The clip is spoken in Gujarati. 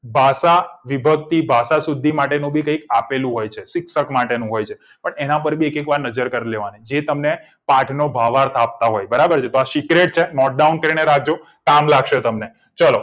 ભાષા વિભક્તિ ભાષા સુધી માટેનું કઈ ક આપેલું હોય છે શિક્ષક માટેનું હોય છે એના પર એક વાર નજર કર લેવાની જે તમને પાઠ નો ભાવાર્થ આપતા હોય છે બરાબર તો આ secret છે note down કરીને રાખજો કામ લાગશે તમને ચલો